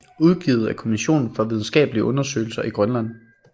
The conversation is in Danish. Udgivet af Kommissionen for videnskakelige Undersøgelser i Grønland